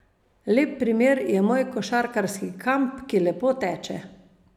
Lep primer je moj košarkarski kamp, ki lepo teče.